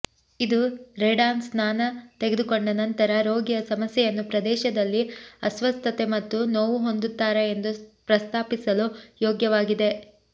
ಇದು ರೇಡಾನ್ ಸ್ನಾನ ತೆಗೆದುಕೊಂಡ ನಂತರ ರೋಗಿಯ ಸಮಸ್ಯೆಯನ್ನು ಪ್ರದೇಶದಲ್ಲಿ ಅಸ್ವಸ್ಥತೆ ಮತ್ತು ನೋವು ಹೊಂದುತ್ತಾರೆ ಎಂದು ಪ್ರಸ್ತಾಪಿಸಲು ಯೋಗ್ಯವಾಗಿದೆ